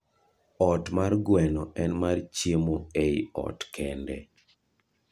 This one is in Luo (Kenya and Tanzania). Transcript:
ot mar gweno en mar chiemo ei ot kende